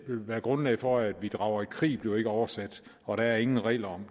være grundlag for at vi drager i krig bliver ikke oversat og der er ingen regler